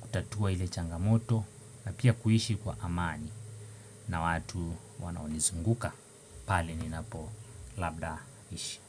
kutatua ile changamoto na pia kuishi kwa amani na watu wanaonizunguka Pali ni napo labda ishi.